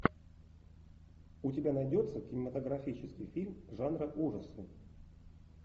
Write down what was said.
у тебя найдется кинематографический фильм жанра ужасы